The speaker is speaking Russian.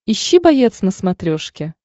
ищи боец на смотрешке